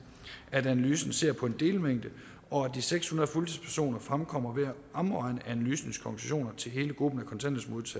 at analysen ser på en delmængde og at de seks hundrede fuldtidspersoner fremkommer ved at omregne analysens konklusioner til hele gruppen